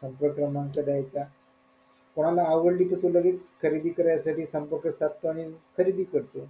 संपर्क क्रमांक देयचा आवडली कि तो लगेच खरेदी करण्या साठी संपर्क साधतो आणि खरेदी करतो